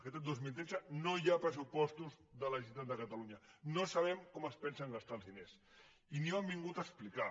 aquest any dos mil tretze no hi ha pressupostos de la generalitat de catalunya no sabem com es pensen gastar els diners i ni ho han vingut a explicar